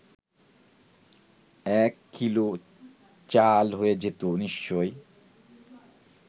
এক কিলো চাল হয়ে যেত নিশ্চয়